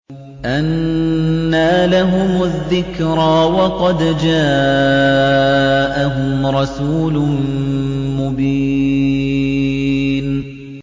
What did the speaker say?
أَنَّىٰ لَهُمُ الذِّكْرَىٰ وَقَدْ جَاءَهُمْ رَسُولٌ مُّبِينٌ